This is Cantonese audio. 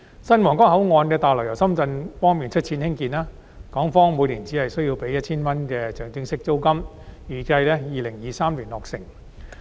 新皇崗口岸大樓由深圳方面出資興建，港方每年只須支付 1,000 元的象徵式租金，預計在2023年落成。